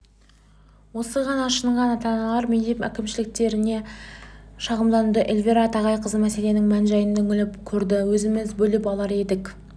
осыған ашынған ата-аналар мектеп әкімшіліктеріне шағымдануда эльвира тағайқызы мәселенің мән-жайына үңіліп көрді өзіміз бөліп алар едік